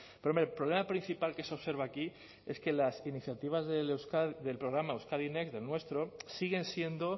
pero hombre el problema principal que se observa aquí es que las iniciativas del programa euskadi next del nuestro siguen siendo